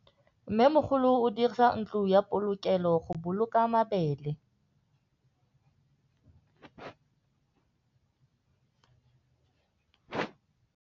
Mmêmogolô o dirisa ntlo ya polokêlô, go boloka mabele.